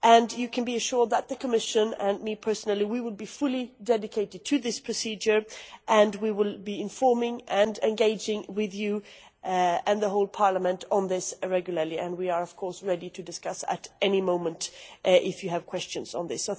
You can be assured that the Commission and I, personally will be fully dedicated to this procedure, and we will be informing and engaging with you and the whole Parliament on this regularly, and we are of course ready to discuss at any moment if you have questions on this.